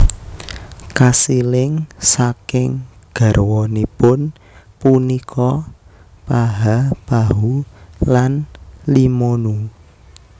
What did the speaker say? Kasiling saking garwanipun punika Paha Pahu lan Limonu